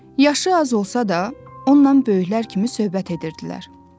Yaşı az olsa da, onunla böyüklər kimi söhbət edirdilər.